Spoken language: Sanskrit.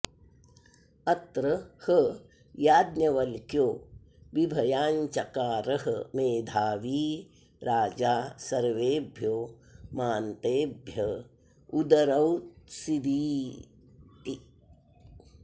अत्र ह याज्ञवल्क्यो बिभयां चकारः मेधावी राजा सर्वेभ्यो मान्तेभ्य उदरौत्सीदिति